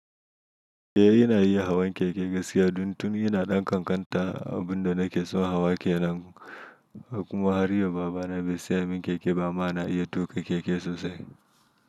Eh ina iya hawan keke gaskiya, don tun ina ɗan ƙanƙanta, abin da na ke so hawa ke nan. Kuma har yau baba na bai saya min keke ba, amma na iya tuƙa keke sosai.